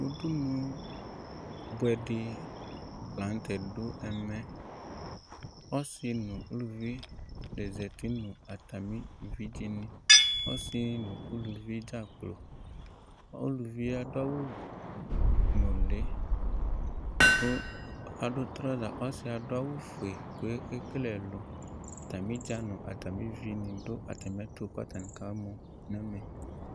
Ʋdʋnʋ bʋɛdi lanʋtɛ dʋ ɛmɛ ɔsi nʋ ʋlʋvi zati nʋ atami evidze ɔsi nʋ ʋlʋvi dza kplo ʋlʋvi adʋ awʋ nʋli kʋ adʋ trɔza ɔsi asʋ awʋ fue kʋ ɛkele ɛlʋ atami idza nʋ atami ʋvini dʋ atami ɛtʋ kʋ aka mɔ